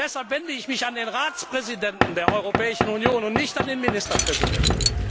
Deshalb wende ich mich an den Ratspräsidenten der Europäischen Union und nicht an den Ministerpräsidenten.